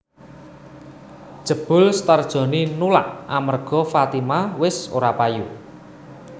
Jebul Star Joni nulak amerga Fatima wis ora payu